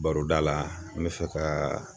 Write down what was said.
Baroda la n bɛ fɛ ka